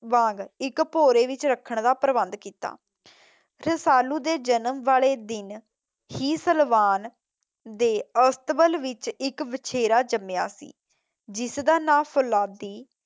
ਵਾਂਗ ਇੱਕ ਭੋਰੇ ਵਿੱਚ ਰੱਖਣ ਦਾ ਪ੍ਰਬੰਧਨ ਕੀਤਾ । ਰਸਾਲੂ ਦੇ ਜਨਮ ਵਾਲੇ ਦਿਨ ਹੀ ਸਲਵਾਨ ਦੇ ਅਸਤਬਲ ਵਿੱਚ ਇੱਕ ਵਿਛੇਰਾ ਜੰਮਿਆ ਸੀ ਜਿਸ ਦਾ ਨਾਮ ਫੋਲਾਦੀ